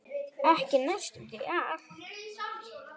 Ekki næstum því allt.